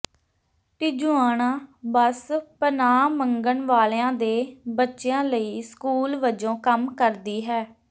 Tijuana bus ਪਨਾਹ ਮੰਗਣ ਵਾਲਿਆਂ ਦੇ ਬੱਚਿਆਂ ਲਈ ਸਕੂਲ ਵਜੋਂ ਕੰਮ ਕਰਦੀ ਹੈ